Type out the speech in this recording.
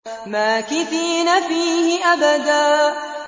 مَّاكِثِينَ فِيهِ أَبَدًا